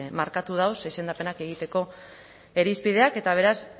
markatu ditu izendapenak egiteko irizpideak eta beraz